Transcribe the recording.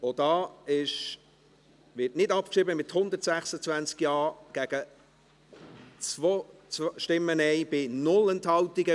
Auch die Motion 188-2017 wird nicht abgeschrieben, mit 126 Ja- gegen 2 Nein-Stimmen bei 0 Enthaltungen.